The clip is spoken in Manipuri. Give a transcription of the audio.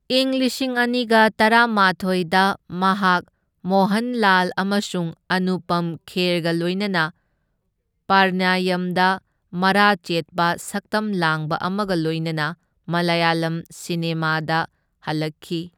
ꯏꯪ ꯂꯤꯁꯤꯡ ꯑꯅꯤꯒ ꯇꯔꯥꯃꯥꯊꯣꯢꯗ ꯃꯍꯥꯛ ꯃꯣꯍꯟꯂꯥꯜ ꯑꯃꯁꯨꯡ ꯑꯅꯨꯄꯝ ꯈꯦꯔꯒ ꯂꯣꯏꯅꯅ ꯄ꯭ꯔꯅꯌꯝꯗ ꯃꯔꯥ ꯆꯦꯠꯄ ꯁꯛꯇꯝ ꯂꯥꯡꯕ ꯑꯃꯒ ꯂꯣꯏꯅꯅ ꯃꯂꯌꯥꯂꯝ ꯁꯤꯅꯦꯃꯥꯗ ꯍꯜꯂꯛꯈꯤ꯫